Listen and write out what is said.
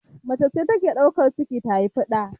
Macece take daukan ciki ta haufi ɗa